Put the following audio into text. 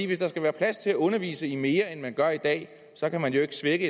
hvis der skal være plads til at undervise i det mere end man gør i dag så kan man jo ikke svække